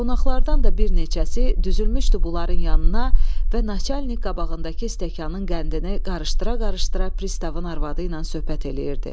Qonaqlardan da bir neçəsi düzülmüşdü bunların yanına və naçalnik qabağındakı stəkanın qəndini qarıştıra-qarıştıra pristavın arvadı ilə söhbət eləyirdi.